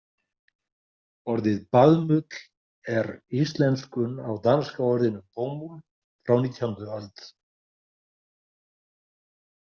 Orðið baðmull er íslenskun á danska orðinu bomuld frá og nítjánda öld.